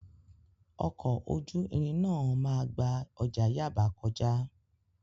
Ọkọ̀ ojú irin náà máa gba ọjà Yaba kọjá.